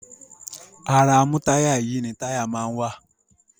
Ara amútáyà-yìí ni táyà máa ń wà.